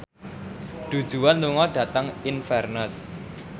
Du Juan lunga dhateng Inverness